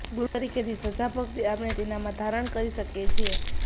ગુરુ તરીકેની શ્રદ્ધાભક્તિ આપણે તેનામાં ધારણ કરી શકીએ છીએ